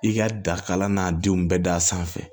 I ka dakalan n'a denw bɛɛ da sanfɛ